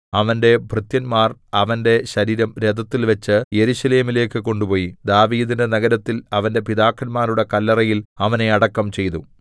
അവന്റെ ഭൃത്യന്മാർ അവന്റെ ശരീരം രഥത്തിൽവെച്ച് യെരൂശലേമിലേക്ക് കൊണ്ടുപോയി ദാവീദിന്റെ നഗരത്തിൽ അവന്റെ പിതാക്കന്മാരുടെ കല്ലറയിൽ അവനെ അടക്കം ചെയ്തു